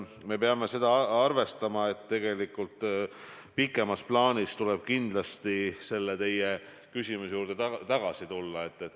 Me peame arvestama, et pikemas plaanis tuleb kindlasti selle teie küsimuse juurde tagasi tulla.